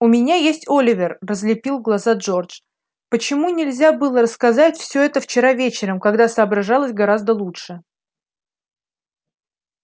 у меня есть оливер разлепил глаза джордж почему нельзя было рассказать всё это вчера вечером когда соображалось гораздо лучше